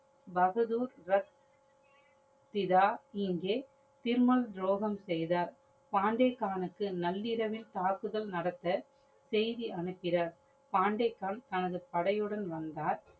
பகதூர் ரஷ் சிதா இங்கே திருமால் தொரகம் செய்தார். பாண்டேக்கானுக்கு நள்ளிரவில் தாக்குதல் நடத்த செய்தி அனுப்பினர். பண்டேக்கான் தனது படையுடன் வந்தார்.